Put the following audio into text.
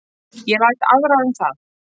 Ég læt aðra um það